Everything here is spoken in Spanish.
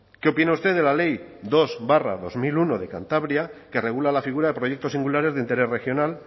qué opina usted de la ley dos barra dos mil uno de cantabria que regula la figura de proyectos singulares de interés regional